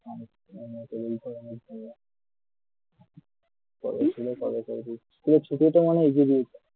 তোদের ছুটি তো মনে হয় এগিয়ে দিয়েছে